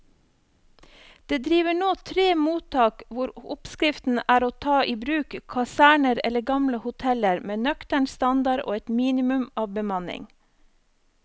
Det driver nå tre mottak hvor oppskriften er å ta i bruk kaserner eller gamle hoteller med nøktern standard og et minimum av bemanning.